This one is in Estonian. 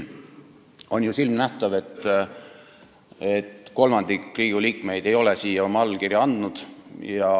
On ju silmanähtav, et kolmandik Riigikogu liikmeid ei ole siia oma allkirja andnud.